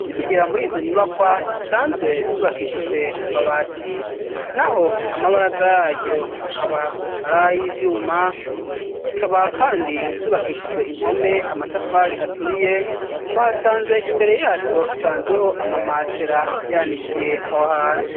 Tukigera mur'izo nyubakwa zisanzwe zubakishijwe amabati naho amabaraza yaryo akaba aray'ivyuma zikaba kandi zubakishijwe impome amatafari aturiye twasanze imbere yazo hasanzweho amamatera yanikiyeho aho hantu.